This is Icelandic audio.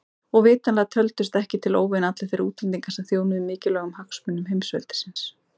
Og vitanlega töldust ekki til óvina allir þeir útlendingar sem þjónuðu mikilvægum hagsmunum heimsveldisins.